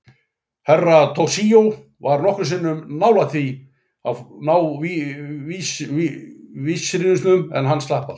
Herra Toshizo var nokkrum sinnum nbálægt því að ná vísrusinum, en hann slapp alltaf.